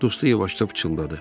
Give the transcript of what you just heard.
Dostu yavaşca pıçıldadı.